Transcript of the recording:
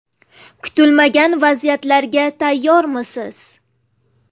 Kutilmagan vaziyatlarga tayyormisiz?